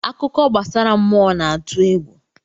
Akụkọ gbasara mmụọ na-atụ egwu.